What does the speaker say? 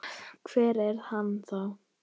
Hver er hann þá?